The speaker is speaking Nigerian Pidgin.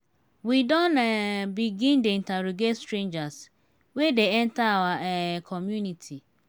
we don um begin dey interrogate strangers wey dey enter our um community.